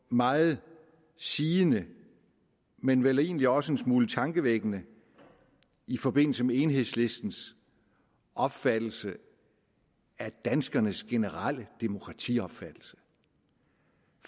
meget sigende men vel egentlig også en smule tankevækkende i forbindelse med enhedslistens opfattelse af danskernes generelle demokratiopfattelse